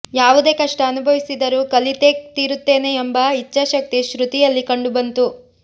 ಯಾವುದೇ ಕಷ್ಟ ಅನುಭವಿಸಿದರೂ ಕಲಿತೇ ತೀರುತ್ತೇನೆ ಎಂಬ ಇಚ್ಛಾಶಕ್ತಿ ಶ್ರುತಿಯಲ್ಲಿ ಕಂಡುಬಂತು